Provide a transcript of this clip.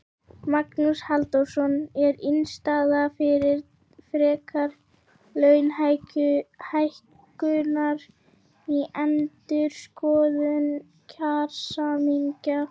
Magnús Halldórsson: Er innstaða fyrir frekari launahækkunum í endurskoðun kjarasamninga?